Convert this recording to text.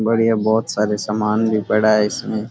बढ़िया बहुत सारे सामान भी पड़े है इसमें।